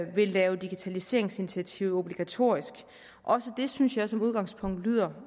vil lave digitaliseringsinitiativer obligatorisk også det synes jeg som udgangspunkt lyder